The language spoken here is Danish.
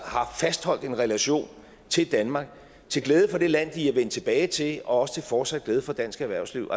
har fastholdt en relation til danmark til glæde for det land de er vendt tilbage til og også til fortsat glæde for dansk erhvervsliv